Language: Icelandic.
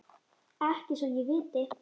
Ekki svo ég viti.